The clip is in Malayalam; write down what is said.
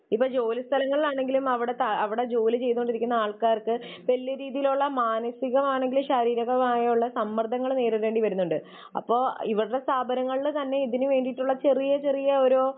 ഇപ്പോൾ ജോലിസ്ഥലങ്ങളിൽ ആണെങ്കിലും അവിടെ ജോലി ചെയ്തുകൊണ്ടിരിക്കുന്ന ആൾക്കാർക്ക് വലിയ രീതിയിലുള്ള മാനസികമാണെങ്കിലും ശാരീരികമായുള്ള സമ്മർദ്ദങ്ങൾ നേരിടേണ്ടി വരുന്നുണ്ട്. അപ്പോൾ ഇവരുടെ സ്ഥാപനങ്ങളിൽ തന്നെ ഇതിന് വേണ്ടിയിട്ടുള്ള ചെറിയ ചെറിയ ഓരോ